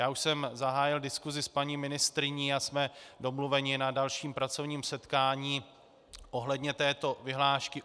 Já už jsem zahájil diskusi s paní ministryní a jsme domluveni na dalším pracovním setkání ohledně této vyhlášky.